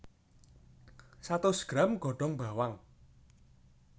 Satus gram godhong bawang